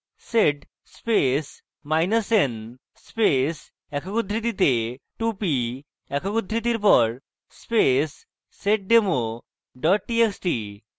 sed space minus n space একক উদ্ধৃতিতে 2p একক উদ্ধৃতির পর space seddemo txt txt